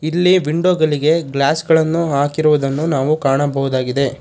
ಇಲ್ಲಿ ವಿಂಡೋ ಗಲೀಗೆ ಗ್ಲಾಸ್ಗಳನ್ನು ಹಾಕಿರುವುದನ್ನು ನಾವು ಕಾಣಬಹುದಾಗಿದೆ.